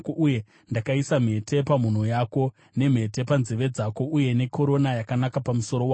uye ndakaisa mhete pamhuno yako, nemhete panzeve dzako uye nekorona yakanaka pamusoro wako.